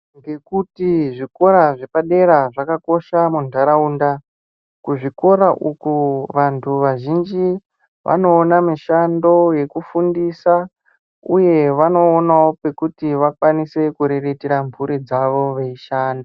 Ngekuti zvikora zvepadera zvakakosha mundaraunda kuzvikora uko vantu vazhinji vanoona mishando yekufundisa uye vanoonawo kwekuti vakwanise kuriritira mhuri dzavo veishanda.